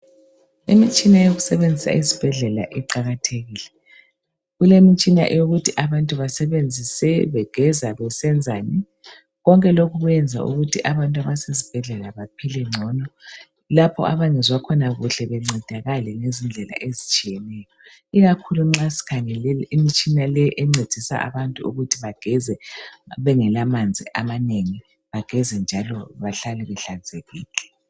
Imitshina yokusebenzisa ezibhedlela iqalathekile. Kulemitshina yokuthi abantu basebenzisa begeza besenzani . Konke lokhu kwenza ukuthi abantu abasezibhedlela baphile ngcono lapho abangezwa khona kuhle bancedakale ngezindlela ezitshiyeneyo. Ikakhulu nxa sikhangele imitshina encedisa abantu ukuthi bageze bengelamanzi amanengi bageze njalo bahlale behlanzekile.